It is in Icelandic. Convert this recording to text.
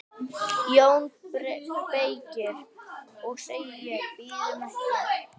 JÓN BEYKIR: Og ég segi: Bíðum ekki!